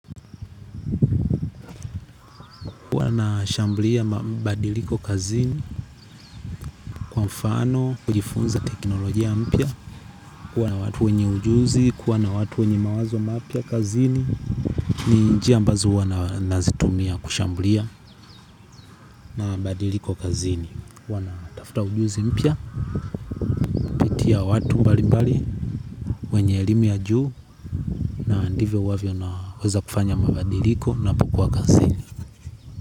Huwa nashamblia mabadiliko kazini kwa mfano, kujifunza teknolojia mpya. Kuwa na watu wenye ujuzi, kuwa na watu wenye mawazo mapia kazini. Ni njia ambazo huwa nazitumia kushambulia mabadiliko kazini huwa na tafuta ujuzi mpya, kupitia watu mbali mbali, wenye elimu ya juu. Ndivyo huwavyo naweza kufanya mabadiliko ninapokua kazini.